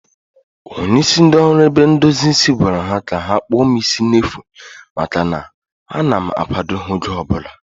Onye isi ndị oru ebe ndozi isi gwara ha ka ha kpụọ m isi n'efu maka na a na m akwado ha oge ọbụla